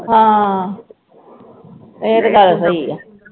ਹਾਂ ਇਹ ਤੇ ਗੱਲ ਸਹੀ ਆ